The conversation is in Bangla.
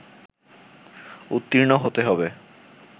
উত্তীর্ণ হতে হবে